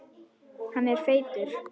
Hann er feitur.